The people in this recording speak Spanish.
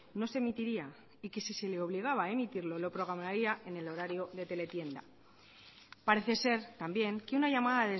no se emitiría y que si se le obligaba a emitirlo lo programaría en el horario de teletienda parece ser también que una llamada